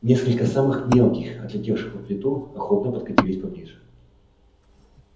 несколько самых мелких отлетевших под плиту охотно подкатились поближе